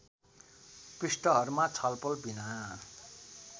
पृष्ठहरूमा छलफल विना